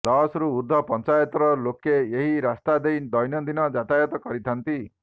ଦଶ ରୁ ଉର୍ଦ୍ଧ୍ବ ପଞ୍ଚାୟତର ଲୋକେ ଏହି ରାସ୍ତା ଦେଇ ଦୈନନ୍ଦିନ ଯାତାୟାତ କରିଥାନ୍ତି